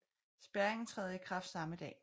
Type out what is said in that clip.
Spærringen træder i kraft samme dag